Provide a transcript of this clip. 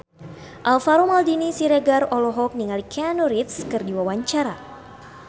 Alvaro Maldini Siregar olohok ningali Keanu Reeves keur diwawancara